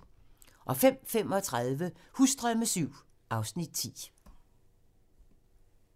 05:35: Husdrømme VII (Afs. 10)